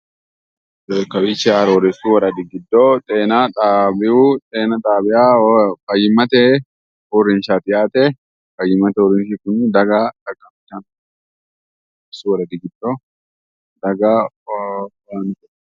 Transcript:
Kawiichi arooreessu woradi giddo xeena xaawiyu xeena xaawa fayyimmate uurrinshaati yaate. Fayyimmate uurrinshi kuni daga arooreessu woradi giddo daga...